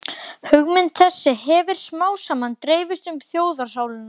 Hugmynd þessi hefir smámsaman dreifst um þjóðarsálina